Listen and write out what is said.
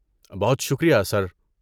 بہت شکریہ، سر۔